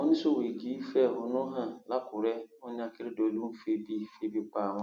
àwọn oníṣòwò igi fẹhónú hàn lakúrẹ wọn ní akérèdọlù ń febi febi pa àwọn